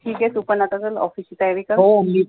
ठिऊके तू पण आता चाल ची तयारी कर